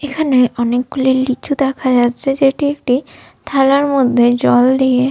এখানে অনেকগুলি লিচু দেখা যাচ্ছে যেটি একটি থালার মধ্যে জল দিয়ে --